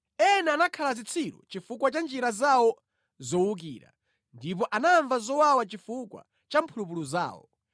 Ena anakhala zitsiru chifukwa cha njira zawo zowukira, ndipo anamva zowawa chifukwa cha mphulupulu zawo.